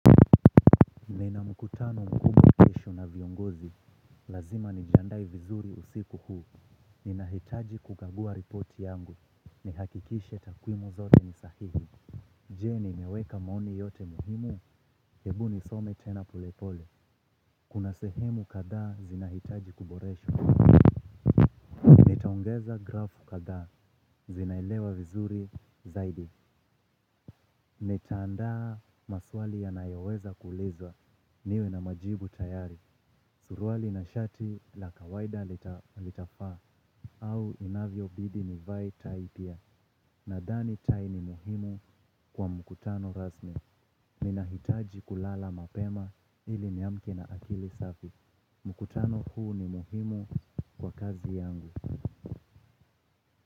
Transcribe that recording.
Nina mkutano mkumbwa kesho na viongozi, lazima nijiandae vizuri usiku huu, ninahitaji kukagua ripoti yangu, nihakikishe takwimu zote ni sahihi. Je nimeweka maoni yote muhimu, hebu nisome tena pole pole, kuna sehemu kadhaa zinahitaji kuboreshwa. Nitaongeza graph kadhaa zinaelewa vizuri zaidi. Nitaandaa maswali yanayoweza kuulizwa niwe na majibu tayari. Suruali na shati la kawaida litafaa au inavyobidi nivae tai pia. Nadhani tai ni muhimu kwa mkutano rasmi. Ninahitaji kulala mapema ili niamke na akili safi. Mkutano huu ni muhimu kwa kazi yangu.